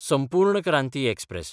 संपूर्ण क्रांती एक्सप्रॅस